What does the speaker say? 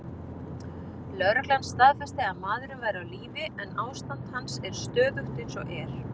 Lögreglan staðfesti að maðurinn væri á lífi, en ástand hans er stöðugt eins og er.